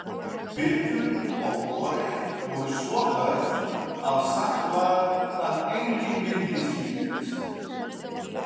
Veturinn og vorið voru svo hörð að sagt var að enginn myndi slíkt.